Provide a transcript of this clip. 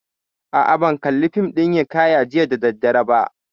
A'a, ban kalli fim ɗin hiƙaya jiya da daddare ba